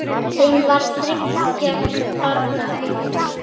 Þeim varð þriggja barna auðið.